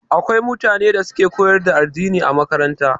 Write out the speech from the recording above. Akwai mutane da suke koyar da addini a makaranta